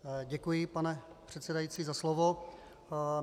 Děkuji, pane předsedající, za slovo.